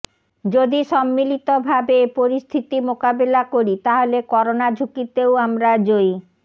যদি সম্মিলিতভাবে এ পরিস্থিতি মোকাবিলা করি তাহলে করোনা ঝুঁকিতেও আমরা জয়ী